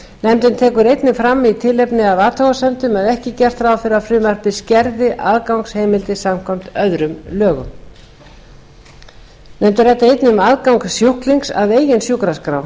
nefndin tekur einnig fram í tilefni af athugasemdum að ekki er gert ráð fyrir að frumvarpið skerði aðgangsheimildir samkvæmt öðrum lögum nefndin ræddi um aðgang sjúklings að eigin sjúkraskrá